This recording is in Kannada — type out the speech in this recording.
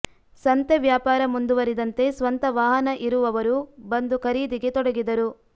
ಸಂತೆ ವ್ಯಾಪಾರ ಮುಂದುವರಿದಂತೆ ಸ್ವಂತ ವಾಹನ ಇರು ವವರು ಬಂದು ಖರೀದಿಗೆ ತೊಡಗಿದರು